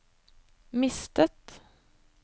mistet